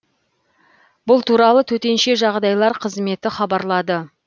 бұл туралы төтенше жағдайлар қызметі хабарлады